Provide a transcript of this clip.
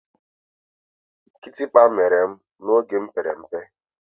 Kitikpa mere m oge m pere mpe.